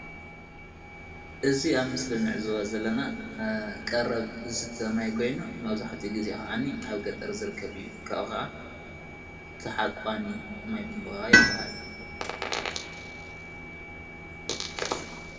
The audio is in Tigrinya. እዚ አብ ምስሊ እንዕዘቦ ዘለና ቀረብ ዝስተ ማይ ኮይኑ መብዛሕትኡ ግዜ ከዓኒ አብ ገጠር ዝርከብ እዩ ካብኡ ከዓ ተሓቋኒ ማይ ቡንቧ ይበሃል።